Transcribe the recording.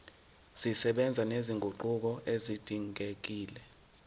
zisebenza nezinguquko ezidingekile